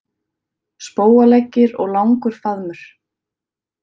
Spóaleggir og langur faðmur.